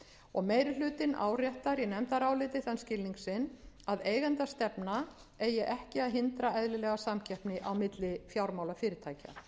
og meiri hlutinn áréttar í nefndaráliti þann skilning sinn að eigendastefna eigi ekki að hindra eðlilega samkeppni á milli fjármálafyrirtækja